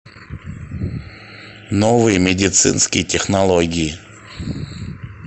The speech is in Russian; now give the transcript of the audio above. новые медицинские технологии